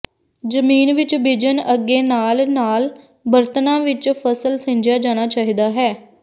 ਜ਼ਮੀਨ ਵਿੱਚ ਬੀਜਣ ਅੱਗੇ ਨਾਲ ਨਾਲ ਬਰਤਨਾ ਵਿਚ ਫਸਲ ਸਿੰਜਿਆ ਜਾਣਾ ਚਾਹੀਦਾ ਹੈ